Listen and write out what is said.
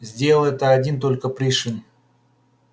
сделал это один только пришвин